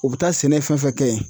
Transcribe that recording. O be taa sɛnɛ fɛn fɛn kɛ yen